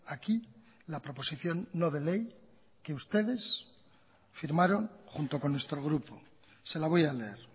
aquí la proposición no de ley que ustedes firmaron junto con nuestro grupo se la voy a leer